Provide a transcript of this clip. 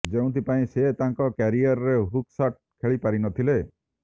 ଯେଉଁଥିପାଇଁ ସେ ତାଙ୍କ କ୍ୟାରିଅରରେ ହୁକ୍ ଶଟ୍ ଖେଳି ପାରିନଥିଲେ